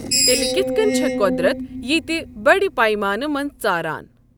تیٚلہِ کِتھ کٔنۍ چھےٚ قۄدرَت ییٖتہِ بَڑِ پیمانہٕ منٛز ژاران؟